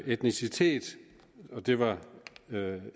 etnicitet og det var